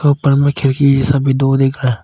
ऊपर में खिड़की ये सब भी दो दिख रहा।